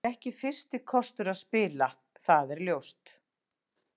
Það er ekki fyrsti kostur að spila, það er ljóst.